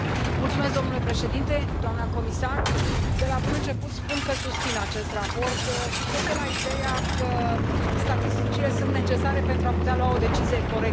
Domnule președinte, doamnă comisar, de la bun început spun că susțin acest raport și plec de la ideea că statisticile sunt necesare, pentru a putea lua o decizie corectă.